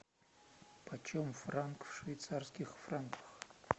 почем франк в швейцарских франках